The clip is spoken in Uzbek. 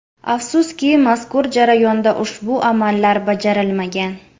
Afsuski, mazkur jarayonda ushbu amallar bajarilmagan.